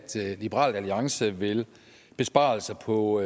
liberal alliance vil besparelser på